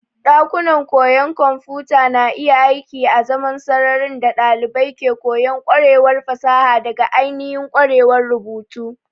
Ɗakunan koyon kwamfuta na iya aiki azaman sararin da ɗalibai ke koyon ƙwarewa farawa daga ainihin ƙwarewar rubutu.